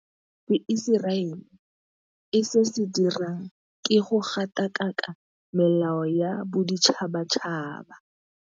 Se Iseraele e se dirang ke go gatakaka melao ya boditšhabatšhaba.